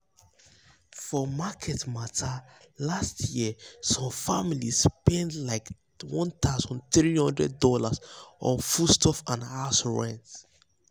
for market matter last year some family spend spend likeone thousand three hundred dollarson foodstuff and house run.